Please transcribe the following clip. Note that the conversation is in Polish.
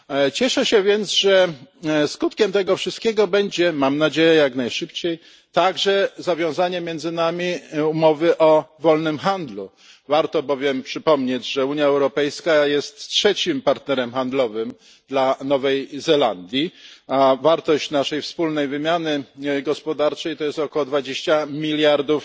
Cieszę się więc, że skutkiem tego wszystkiego będzie mam nadzieję jak najszybciej także zawiązanie między nami umowy o wolnym handlu. Warto bowiem przypomnieć, że Unia Europejska jest trzecim partnerem handlowym dla Nowej Zelandii, a wartość naszej wspólnej wymiany gospodarczej to jest około 20 miliardów